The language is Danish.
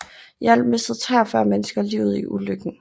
I alt mistede 43 mennesker livet i ulykken